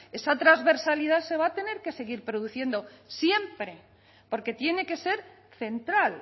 esa transversalidad se va a tener que seguir produciendo siempre porque tiene que ser central